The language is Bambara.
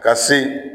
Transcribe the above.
Ka se